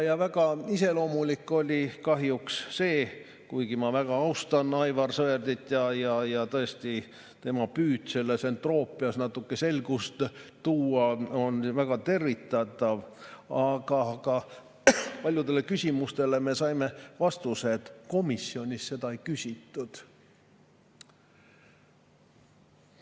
Väga iseloomulik oli kahjuks – kuigi ma väga austan Aivar Sõerdit, tema püüd selles entroopias natuke selgust tuua on väga tervitatav –, et paljudele küsimustele me saime vastuseks, et komisjonis seda ei küsitud.